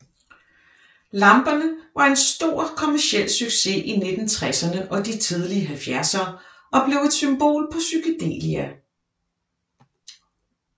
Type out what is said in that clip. Lamperne var en stor kommerciel succes i 1960erne og de tidlige 70ere og blev et symbol på psykedelia